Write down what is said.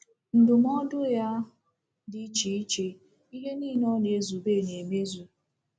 Ndụmọdụ ya dị iche iche ’— ihe niile ọ na-ezube — na-emezu.